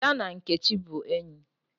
Ada na Nkechi bu enyi